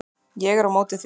Ég er á móti því.